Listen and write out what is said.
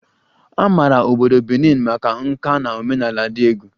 A maara obodo Benin maka nka na omenala dị egwu